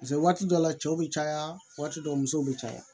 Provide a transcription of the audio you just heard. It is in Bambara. waati dɔw la cɛw bɛ caya waati dɔw musow bɛ caya